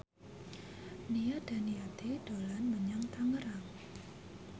Nia Daniati dolan menyang Tangerang